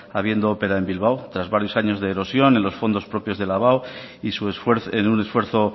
habiendo opera en bilbao tras varios años de erosión en los fondos propios de la abao en un esfuerzo